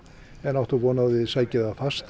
áttu von á að þið sækið það fast